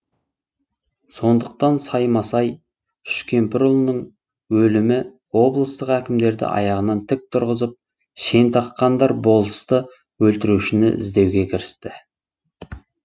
сондықтан саймасай үшкемпірұлының өлімі облыстық әкімдерді аяғынан тік тұрғызып шен таққандар болысты өлтірушіні іздеуге кірісті